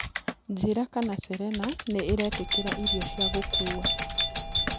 njĩĩra kana serena niraitikiraĩrĩo cĩa gũkũwa